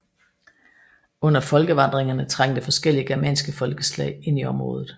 Under folkevandringerne trængte forskellige germanske folkeslag ind i området